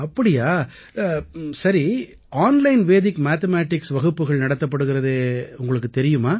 அப்படியா சரி online Vedic mathematics வகுப்புகள் நடத்தப்படுகிறதே உங்களுக்குத் தெரியுமா